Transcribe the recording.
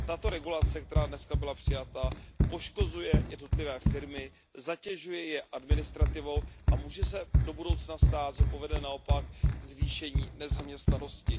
Tato regulace, která dnes byla přijata, poškozuje jednotlivé firmy, zatěžuje je administrativou a může se do budoucna stát, že povede naopak ke zvýšení nezaměstnanosti.